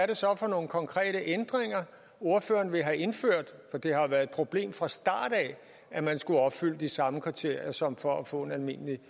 det så er for nogle konkrete ændringer ordføreren vil have indført for det har jo været et problem fra starten af at man skulle opfylde de samme kriterier som for at få en almindelig